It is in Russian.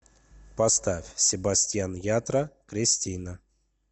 поставь себастиан ятра кристина